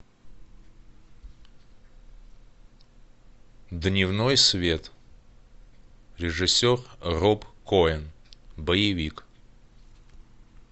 дневной свет режиссер роб коэн боевик